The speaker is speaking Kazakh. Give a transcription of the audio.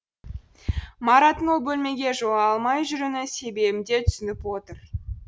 мараттың ол бөлмеге жолай алмай жүруінің себебін де түсініп отыр